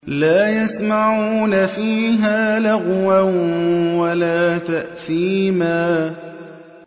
لَا يَسْمَعُونَ فِيهَا لَغْوًا وَلَا تَأْثِيمًا